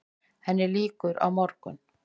Henni lýkur á morgun.